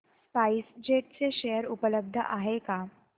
spice jet चे share उपलब्ध आहेत का